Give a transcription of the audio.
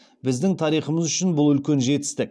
біздің тарихымыз үшін бұл үлкен жетістік